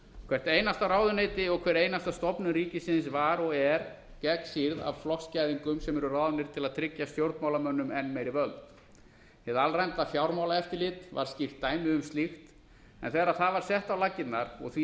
hvert einasta ráðuneyti og hver einasta stofnun ríkisins var og er gegnsýrð af flokksgæðingum sem eru ráðnir til að tryggja stjórnmálamönnum enn meiri völd hið alræmda fjármálaeftirlit var skýrt dæmi um slíkt en þegar það var sett á laggirnar og því